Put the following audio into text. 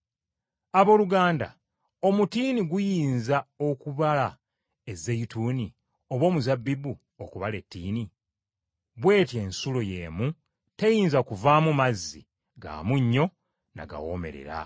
Abooluganda omutiini guyinza okubala ezeyituuni, oba omuzabbibu okubala ettiini? Bw’etyo n’ensulo y’emu teyinza kuvaamu mazzi ga munnyo na gawoomerera.